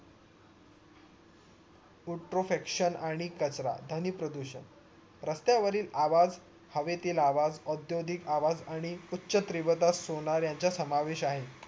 एक kutorefraction आणि कचरा ध्वनी प्रदूषण रस्तावरील आवाज हवेतील आवाज ओध्योदिक आवाज आणो उच्य त्रिवदा सोनार याचा समावेश आहे